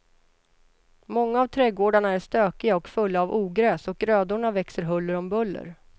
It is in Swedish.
Många av trädgårdarna är stökiga och fulla av ogräs och grödorna växer huller om buller.